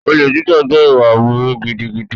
Olè jíjà jẹ́ ìwà aburú gidigidi.